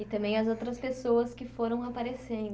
E também as outras pessoas que foram aparecendo